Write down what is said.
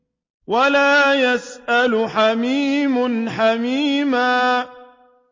وَلَا يَسْأَلُ حَمِيمٌ حَمِيمًا